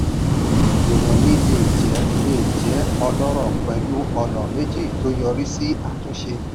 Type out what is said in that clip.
ìròyìn le jẹ le jẹ ọlọ́rọ̀ pẹ̀lú ọ̀nà méjì tó yọrí sí àtúnṣe.